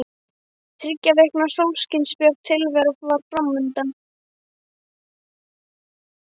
Þriggja vikna sólskinsbjört tilvera var fram undan.